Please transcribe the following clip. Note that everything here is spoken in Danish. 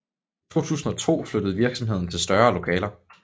I 2002 flyttede virksomheden til større lokaler